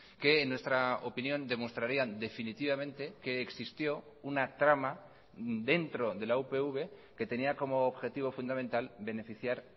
que en nuestra opinión demostrarían definitivamente que existió una trama dentro de la upv que tenía como objetivo fundamental beneficiar